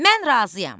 Mən razıyam.